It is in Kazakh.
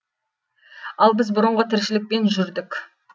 ал біз бұрынғы тіршілікпен жүрдік